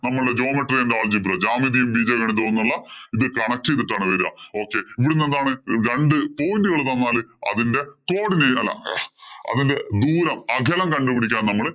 നമ്മള് geomatry യും and the algebra ജ്യോമിതിയും, ബീജഗണിതവും എന്നുള്ള ഇതി connect ചെയ്തിട്ടാണ് വരിക. Okay ഇവിടുന്നു എന്താണ് രണ്ടു point ഉകള്‍ തന്നാല് അതിന്‍റെ co-cordinate അല്ല അതിന്‍റെ ദൂരം അകലം കൊണ്ട് പിടിക്കാന്‍ നമ്മള്